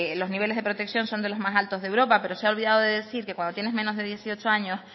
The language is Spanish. los niveles de protección son de los más altos de europa pero se ha olvidado de decir que cuando tienes menos de dieciocho años